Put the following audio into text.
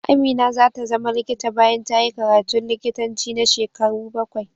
Amina za ta zama likita bayan ta yi karatun likitanci na shekaru bakwai.